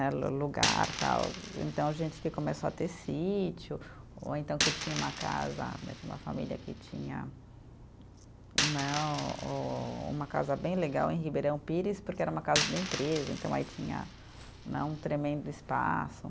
Lugar, tal, então, gente que começou a ter sítio, ou então que tinha uma casa, né tinha uma família que tinha né o, uma casa bem legal em Ribeirão Pires, porque era uma casa da empresa, então aí tinha né, um tremendo espaço.